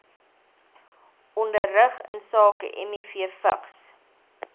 onderrig insake mivvigs